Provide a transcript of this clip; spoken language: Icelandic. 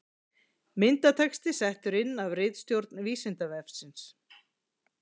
Myndatexti settur inn af ritstjórn Vísindavefsins.